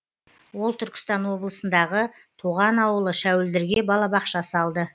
ол түркістан облысындағы туған ауылы шәуілдірге балабақша салды